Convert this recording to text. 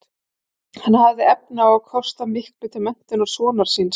Hann hafði efni á að kosta miklu til menntunar sonar síns.